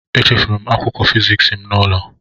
Echefuru m akwụkwọ fịzịksi m n'ụlọ.